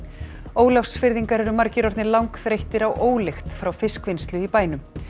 Ólafsfirðingar eru margir orðnir langþreyttir á ólykt frá fiskvinnslu í bænum